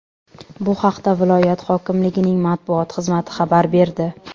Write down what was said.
Bu haqda viloyat hokimligining matbuot xizmati xabar berdi .